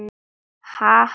Ha ha.